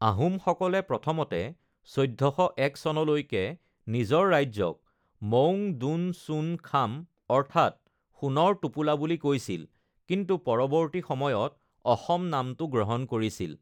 আহোম সকলে প্ৰথমতে ১৪০১ চনলৈকে নিজৰ ৰাজ্যক 'মৌঙ দুন চুন খাম' অৰ্থাৎ সোণৰ টোপোলা বুলি কৈছিল কিন্তু পৰৱৰ্তী সময়ত অসম নামটো গ্ৰহণ কৰিছিল।